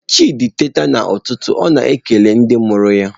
Chidị teeta n’ụtụtụ, ọ na-ekele ndị mụrụ ya.